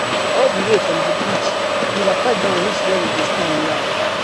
all di way from di bridge e waka down reach wia we dey stand now